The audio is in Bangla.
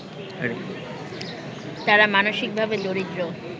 তারা মানসিকভাবে দরিদ্র